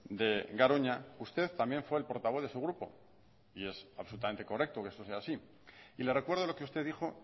de garoña usted también fue el portavoz de su grupo y es absolutamente correcto que eso sea así y le recuerdo lo que usted dijo